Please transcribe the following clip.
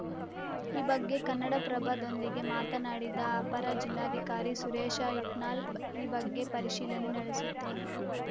ಈ ಬಗ್ಗೆ ಕನ್ನಡಪ್ರಭದೊಂದಿಗೆ ಮಾತನಾಡಿದ ಅಪರ ಜಿಲ್ಲಾಧಿಕಾರಿ ಸುರೇಶ ಇಟ್ನಾಳ್‌ ಬ ಈ ಬಗ್ಗೆ ಪರಿಶೀಲನೆ ನಡೆಸುತ್ತೇನೆ